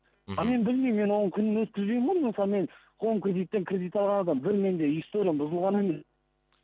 ал мен білмеймін мен оған күнін өткізбеймін ғой мысалы мен хоум кредиттен кредит алған адаммын бір менде историям бұзылған емес